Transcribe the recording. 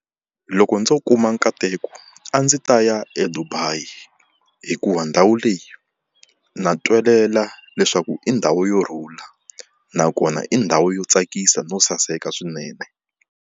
Loko ndzo kuma nkateko a ndzi ta ya eDubai, hikuva ndhawu leyi na twelela leswaku i ndhawu yo rhula nakona i ndhawu yo tsakisa no saseka swinene.